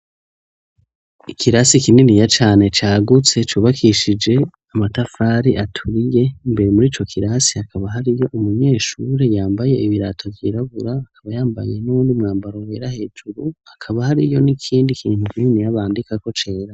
Ikirasi kininiya cane cagutse, cubakishije amatafari aturiye, imbere muri co kirasi hakaba hariyo umunyeshure yambaye ibirato vyirabura, akaba yambaye n'uwundi mwambaro wera hejuru, hakaba hariyo n'ikindi kintu kininiya bandikako cera.